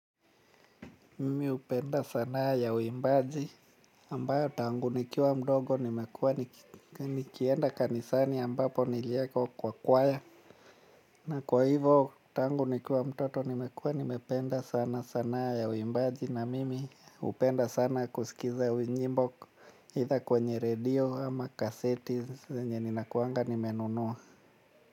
Mimi hupenda sanaa ya waimbaji ambayo tangu nikiwa mdogo nimekuwa nikienda kanisani ambapo niliekwa kwa kwaya. Na kwa hivyo tangu nikiwa mtoto nimekuwa nimependa sana sanaa ya uimbaji na mimi hupenda sana kusikiza nyimbo either kwenye radio ama kaseti zenye ninakuanga nimenunua.